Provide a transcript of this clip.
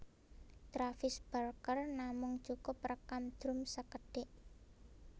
Travis Barker namung cukup rékam drum sékedhik